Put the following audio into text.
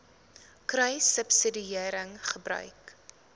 kruissubsidiëringgebruik